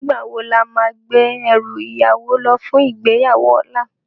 Nigbá wó lámá gbé èrú iyàwó lò fún igbéyáwó òlá?